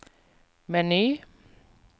meny